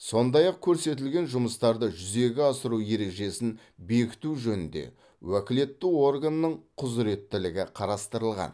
сондай ақ көрсетілген жұмыстарды жүзеге асыру ережесін бекіту жөнінде уәкілетті органның құзыреттілігі қарастырылған